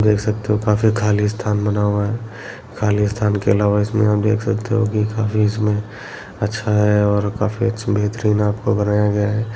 देख सकते हो काफी खाली स्थान बना हुआ है खाली स्थान के अलावा इसमें देख सकते हो की काफी इसमें अच्छा है काफी अच्छा बेहतरीन आपको बनाया गया है।